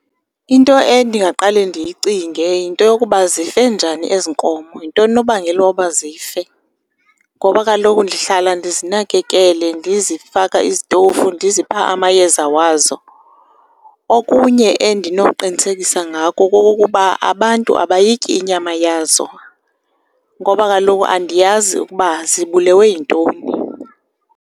Into endingaqale ndiyicinge yinto yokuba zife njani ezi nkomo, yintoni unobangela woba zife. Ngoba kaloku ndihlala ndizinakekele, ndizifaka izitofu, ndizipha amayeza wazo. Okunye endinoqinisekisa ngako kokokuba abantu abayityi inyama yazo ngoba kaloku andiyazi ukuba zibulewe yintoni.